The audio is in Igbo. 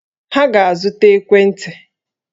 Ha ga-azụta ekwentị!